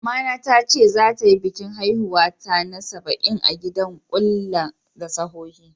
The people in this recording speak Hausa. Mama ta tace zata yi bikin haihuwar ta na sabain a'gidan kulla da sohohi.